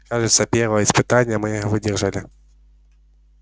кажется первое испытание мы выдержали